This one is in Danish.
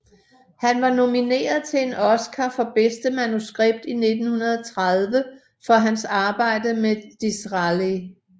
Han var nomineret til en Oscar for bedste manuskript i 1930 for hans arbejde med Disraeli